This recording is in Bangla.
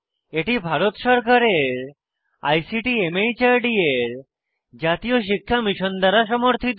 এটি ভারত সরকারের আইসিটি মাহর্দ এর জাতীয় শিক্ষা মিশন দ্বারা সমর্থিত